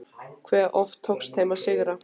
Hve oft tókst þeim að sigra?